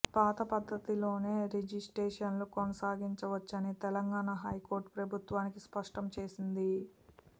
పాత పద్దతిలోనే రిజిస్ట్రేషన్లు కొనసాగించవచ్చని తెలంగాణ హైకోర్టు ప్రభుత్వానికి స్పష్టం చేసింది